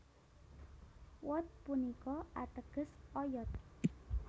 Wod punika atègès oyod